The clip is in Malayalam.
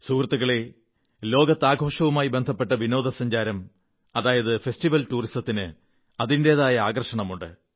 സുഹൃത്തുക്കളേ ലോകത്ത് ആഘോഷവുമായി ബന്ധപ്പെട്ട വിനോദസഞ്ചാരം ഫെസ്റ്റിവൽ ടൂറിസത്തിന് അതിന്റെതായ ആകർഷണമുണ്ട്